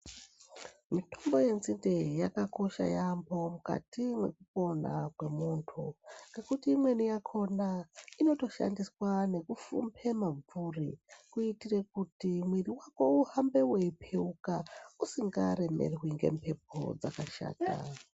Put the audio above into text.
Mitombo yenzinde yakakosha yaambho mukati mekupona kwemunthu ngekuti imweni yakhona inotoshandiswa nekufhumbhe mabvuri kuitire kuti mwiri wako uhambe weipheuka usikaremerwi ngemphepo dzakashata.